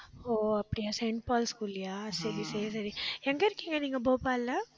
ஓ அப்படியா Saint Paul ஸ்கூல்லயா சரி, சரி, சரி எங்க இருக்கீங்க நீங்க போபால்ல